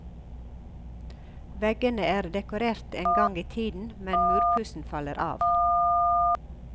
Veggene er dekorert en gang i tiden, men murpussen faller av.